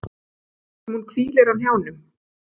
Sem hún hvílir á hnjánum.